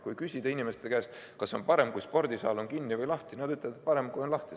Kui küsida inimeste käest, kas on parem, kui spordisaal on kinni või lahti, siis nad ütlevad, et parem, kui on lahti.